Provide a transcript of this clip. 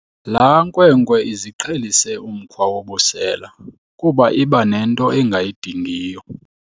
Laa nkwenkwe iziqhelise umkhwa wobusela kuba iba nento engayidingiyo.